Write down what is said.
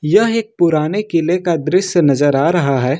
यह एक पुराने किले का दृश्य नजर आ रहा है।